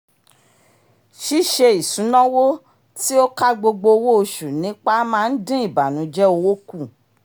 ṣíṣe isunawo tí ó kà gbogbo owó oṣù nípa máa ń dín ìbànújẹ owó kù